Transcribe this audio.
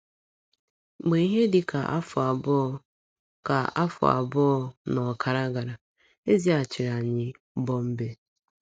Mgbe ihe dị ka afọ abụọ ka afọ abụọ na ọkara gara, e zighachiri anyị Bọmbee.